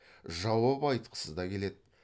жауап айтқысы да келеді